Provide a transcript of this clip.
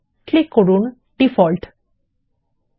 এরপরে ডিফল্ট বিকল্পে ক্লিক করুন